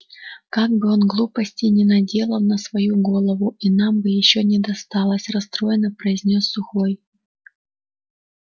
как бы он глупостей не наделал на свою голову и нам бы ещё не досталось расстроенно произнёс сухой